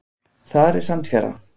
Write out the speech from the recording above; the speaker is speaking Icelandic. Þar er sandfjara.